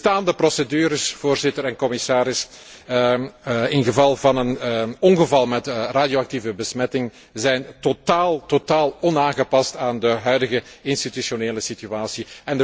De bestaande procedures, Voorzitter en commissaris, in geval van een ongeval met radioactieve besmetting, zijn totaal onaangepast aan de huidige institutionele situatie.